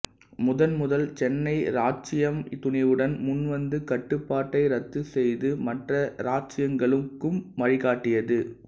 முதன்முதல் சென்னை இராச்சியம் துணிவுடன் முன்வந்து கட்டுப்பாட்டை ரத்துச் செய்து மற்ற இராச்சியங்களுக்கும் வழிகாட்டியது